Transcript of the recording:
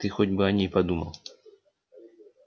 ты хоть бы о ней подумал